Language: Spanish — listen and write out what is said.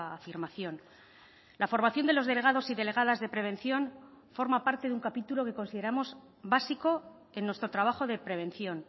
afirmación la formación de los delegados y delegadas de prevención forma parte de un capítulo que consideramos básico en nuestro trabajo de prevención